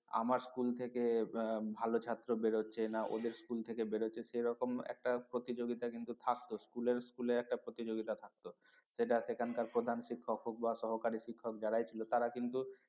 যে আমার স্কুল থেকে ভালো ছাত্র বের হচ্ছে না ওদের স্কুল থেকে বের হচ্ছে সেরকম একটা প্রতিযোগিতা কিন্তু থাকতো school এ school এ একটা প্রতিযোগিতা থাকতো সেটা সেখানকার প্রধান শিক্ষক হোক বা সহকারী শিক্ষক যারাই ছিল তারা কিন্তু